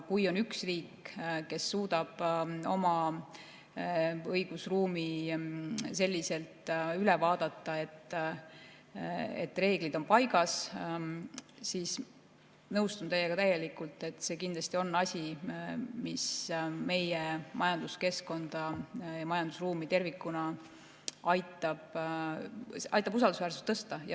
Kui on üks riik, kes suudab oma õigusruumi selliselt üle vaadata, et reeglid on paigas, siis nõustun teiega täielikult, et see kindlasti on asi, mis meie majanduskeskkonna ja tervikuna majandusruumi usaldusväärsust aitab tõsta.